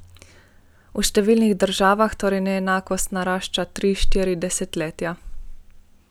V številnih državah torej neenakost narašča tri, štiri desetletja.